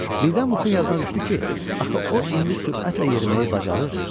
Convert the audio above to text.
Birdən Muqun yadına düşdü ki, axı o indi sürətlə yeriməyi bacarır.